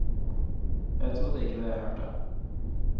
Jeg trodde ikke det jeg hørte.